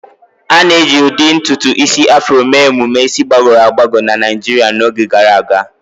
A na-eji ụdị ntutu isi Afro mee emume isi gbagọrọ agbagọ na Naijiria n'oge gara aga.